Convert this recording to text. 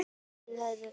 Orðaði það þannig.